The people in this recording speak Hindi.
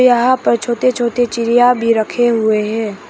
यहां पर छोटे छोटे चिड़िया भी रखे हुए है।